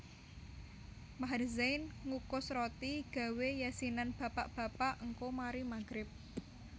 Maher Zain ngukus roti gawe yasinan bapak bapak ngko mari maghrib